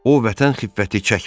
O vətən xiffəti çəkmirdi.